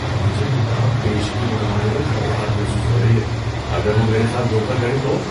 مجھے کتاب پیشگی منگوانے میں گھبراہٹ محسوس ہو رہی ہے، اگر وہ میرے ساتھ دھوکہ کریں تو؟